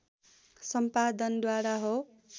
सम्पादन द्वारा हो